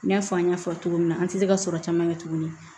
N y'a fɔ an y'a fɔ cogo min na an tɛ se ka sɔrɔ caman kɛ tuguni